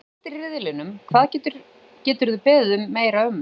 Að vera efstir í riðlinum, hvað geturðu beðið meira um?